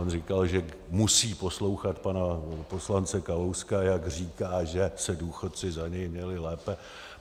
On říkal, že musí poslouchat pana poslance Kalouska, jak říká, že se důchodci za něj měli lépe.